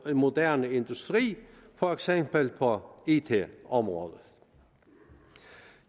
moderne industri for eksempel på it området